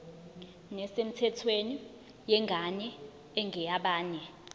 nesemthethweni yengane engeyabanye